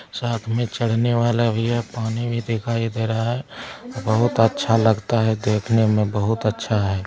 साथ में चढ़ने वाला भी है पानी भी दिखाई दे रहा है बहुत अच्छा लगता है देखने में बहुत अच्छा है।